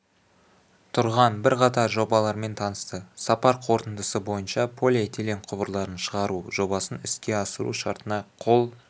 тұрған бірқатар жобалармен танысты сапар қорытындысы бойынша полиэтилен құбырларын шығару жобасын іске асыру шартына қол